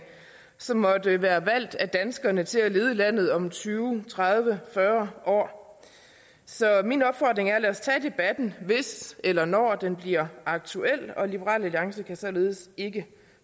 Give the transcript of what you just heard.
som måtte være valgt af danskerne til at lede landet om tyve tredive fyrre år så min opfordring er lad os tage debatten hvis eller når den bliver aktuel liberal alliance kan således ikke